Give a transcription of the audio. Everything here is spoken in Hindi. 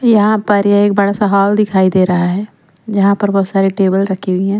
यहां पर एक बड़ा सा हॉल दिखाई दे रहा है। यहां पर बहुत सारे टेबल रखी हुई है।